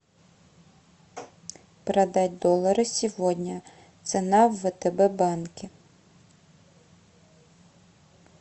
продать доллары сегодня цена в втб банке